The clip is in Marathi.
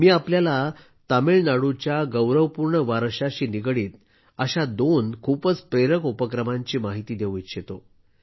मी आपल्याला तामिळनाडूच्या गौरवपूर्ण वारशाशी निगडीत अशा दोन खूपच प्रेरक उपक्रमांची माहिती देऊ इच्छितो